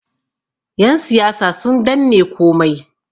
yansiyasa sun danne komai